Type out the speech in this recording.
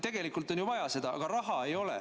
Tegelikult on seda vaja, aga raha ei ole.